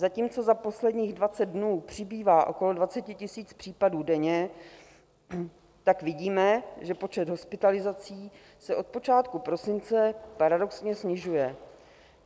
Zatímco za posledních 20 dnů přibývá okolo 20 000 případů denně, tak vidíme, že počet hospitalizací se od počátku prosince paradoxně snižuje.